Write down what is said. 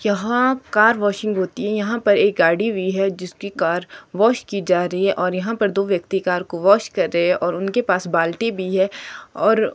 यहां car washing होती है यहां पर एक गाड़ी भी है जिसकी कार वॉश की जा रही है और यहां पर दो व्यक्ति कार को वॉश कर रहे हैं और उनके पास बाल्टी भी है और--